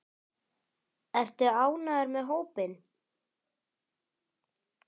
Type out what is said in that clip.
Ertu ánægður með hópinn?